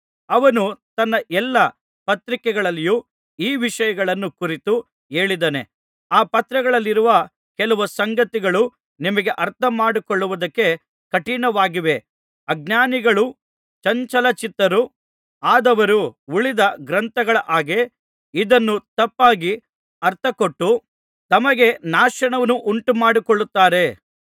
ಅವನು ತನ್ನ ಎಲ್ಲಾ ಪತ್ರಿಕೆಗಳಲ್ಲಿಯೂ ಈ ವಿಷಯಗಳನ್ನು ಕುರಿತು ಹೇಳಿದ್ದಾನೆ ಆ ಪತ್ರಗಳಲ್ಲಿರುವ ಕೆಲವು ಸಂಗತಿಗಳು ನಿಮಗೆ ಅರ್ಥಮಾಡಿಕೊಳ್ಳುವುದಕ್ಕೆ ಕಠಿಣವಾಗಿವೆ ಅಜ್ಞಾನಿಗಳೂ ಚಂಚಲಚಿತ್ತರೂ ಆದವರು ಉಳಿದ ಗ್ರಂಥಗಳ ಹಾಗೆ ಇದನ್ನೂ ತಪ್ಪಾಗಿ ಅರ್ಥ ಕೊಟ್ಟು ತಮಗೆ ನಾಶವನ್ನುಂಟು ಮಾಡಿಕೊಳ್ಳುತ್ತಾರೆ